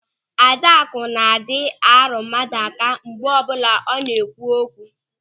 Adakụ na-adị arụ mmadụ aka mgbe ọbụla ọ na-ekwu okwu.